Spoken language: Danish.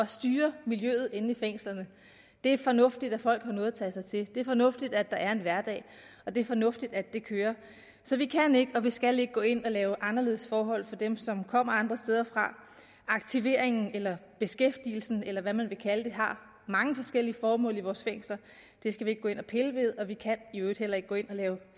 styre miljøet inde i fængslerne det er fornuftigt at folk har noget at tage sig til det er fornuftigt at der er en hverdag og det er fornuftigt at det kører så vi kan ikke og vi skal ikke gå ind og lave anderledes forhold for dem som kommer andre steder fra aktiveringen eller beskæftigelsen eller hvad man vil kalde den har mange forskellige formål i vores fængsler det skal vi ikke gå ind og pille ved og vi kan i øvrigt heller ikke gå ind og lave